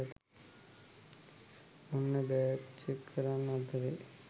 ඔන්න bag check කරන අතරේ